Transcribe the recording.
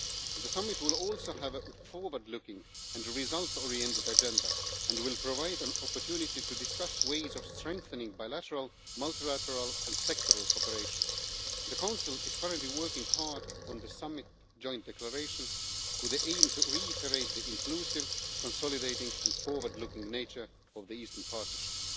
the summit will also have a forward looking and result oriented agenda and will provide an opportunity to discuss ways of strengthening bilateral, multilateral and sectoral cooperation. The Council is currently working hard on the summit joint declaration, with the aim of reiterating the inclusive, consolidating and forward looking nature of the Eastern Partnership.